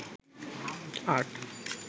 আট